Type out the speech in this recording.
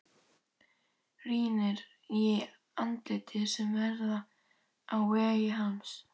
Rýnir í andlit sem verða á vegi hans.